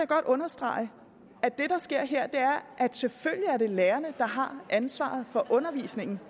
godt understrege at det der sker her er at selvfølgelig er det lærerne der har ansvaret for undervisningen